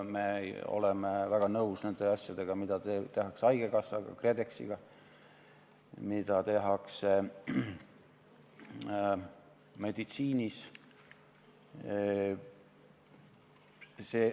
Me oleme väga nõus nende asjadega, mida tehakse haigekassaga, KredExiga, mida tehakse meditsiinis.